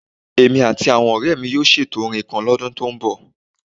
Èmi àti àwọn ọ̀rẹ́ mi yóò ṣètò orin kan lọ́dún tó ń bọ̀